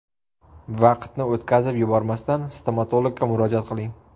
Vaqtni o‘tkazib yubormasdan stomatologga murojaat qiling.